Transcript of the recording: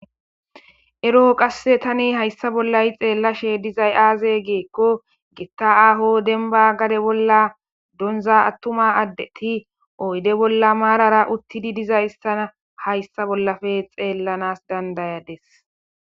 Ero qasse tani hayssa bollayi xeellashe dizay aaze geekko getta aaho denba gade bolla donza attuma addeti oyde bolla maarara uttidi diza istana hayssa bollafe xeellanas dandayades.